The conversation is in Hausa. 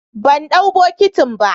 bandau bokitin ba.